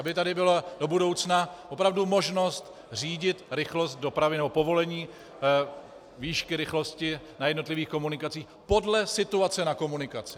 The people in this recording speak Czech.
Aby tady byla do budoucna opravdu možnost řídit rychlost dopravy nebo povolení výšky rychlosti na jednotlivých komunikacích podle situace na komunikaci.